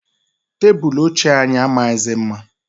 Tebulu ochie anyị amaghịzi mma.